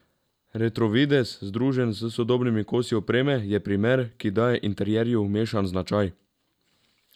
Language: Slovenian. Retro videz, združen s sodobnimi kosi opreme, je primer, ki daje interjerju mešan značaj.